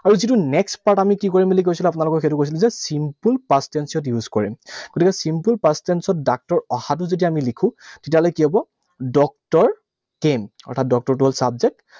আৰু যিটো next part, আমি কি কৰিম বুলি কৈছিলো? আপোনালোকক এইটো কৈছিলো যে simple past tense ত use কৰে। গতিকে simple past tense ত ডাক্তৰ অহাটো যেতিয়া আমি লিখো, তেতিয়াহলে কি হব? Doctor came, অৰ্থাৎ doctor টো হল subject